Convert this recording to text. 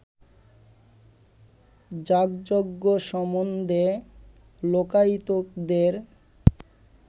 যাগযজ্ঞ সম্বন্ধে লোকায়তিকদের